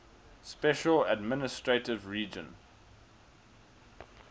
special administrative region